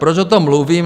Proč o tom mluvím?